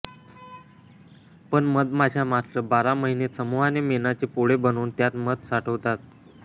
पण मधमाश्या मात्र बारा महिने समूहाने मेणाचे पोळे बनवून त्यात मध साठवतात